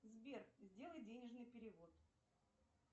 сбер сделай денежный перевод